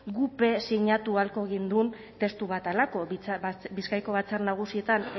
guk be sinatu ahalko genuen testu bat halako bizkaiko batzar nagusietan